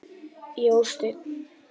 Jósteinn